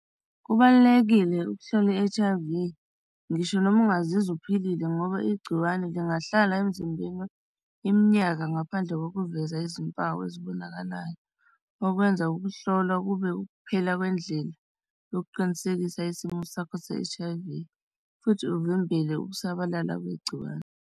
Kubalulekile ukuhlola i-H_I_V. Ngisho noma ungazizwa uphilile ngoba igciwane lingahlala emzimbeni iminyaka. Ngaphandle bokuveza izimpawu ezibonakalayo, okwenza ukuhlolwa kube ukuphela kwendlela yokuqinisekisa isimo sakho se-H_I_V futhi uvimbele ukusabalala kwegciwane.